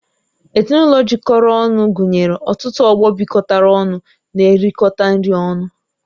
Ezinụlọ jikọrọ ọnụ gụnyere ọtụtụ ọgbọ bịkotara ọnụ n'erikota nri ọnụ